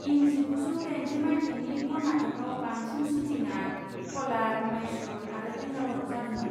इं जिगुजौ दाइनजि माइथायनि कर्नाटकआव बांसिन शुटिंआ कलार, माइसुर आरो बेंगाल'राव जादोंमोन।